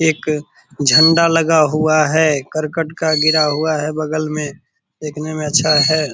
एक झंडा लगा हुआ है। करकट का गिरा हुआ है बगल में देखने में अच्छा है।